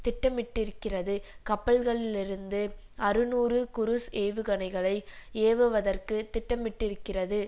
திட்டமிட்டிருக்கிறது கப்பல்களிலிருந்து அறுநூறு குருஸ் ஏவுகணைகளை ஏவுவதற்கு திட்டமிட்டிருக்கிறது